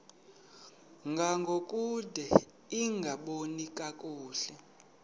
ngangokude lingaboni kakuhle